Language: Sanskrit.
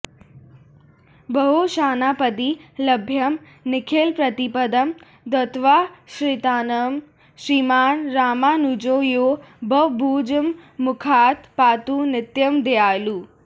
ब्रह्मेशानापदि लभ्यं निखिलप्रतिपदं दत्तवांश्चाश्रितानां श्रीमान् रामानुजो यो भवभुजगमुखात् पातु नित्यं दयालुः